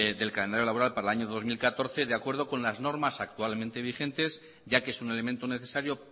laboral para el año dos mil catorce de acuerdo con las normas actualmente vigentes ya que es un elemento necesario